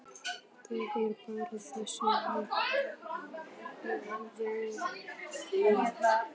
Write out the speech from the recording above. Það er bara þess vegna.